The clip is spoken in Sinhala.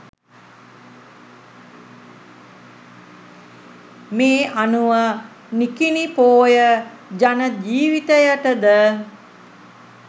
මේ අනුව නිකිණි පෝය ජන ජීවිතයටද